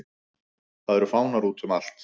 Það eru fánar útum allt.